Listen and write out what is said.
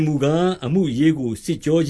မူကား အမှုအရေးကို စစ်ကြောခ